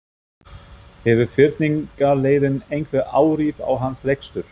Hefur fyrningarleiðin einhver áhrif á hans rekstur?